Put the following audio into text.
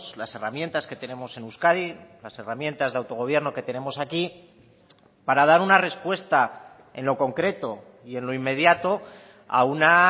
las herramientas que tenemos en euskadi las herramientas de autogobierno que tenemos aquí para dar una respuesta en lo concreto y en lo inmediato a una